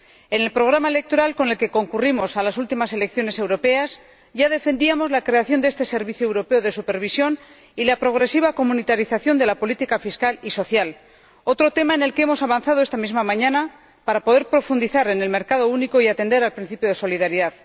En el programa electoral con el que concurrimos a las últimas elecciones europeas ya defendíamos la creación de este servicio europeo de supervisión y la progresiva comunitarización de la política fiscal y social, otro tema en el que hemos avanzado esta misma mañana para poder profundizar en el mercado único y atender al principio de solidaridad.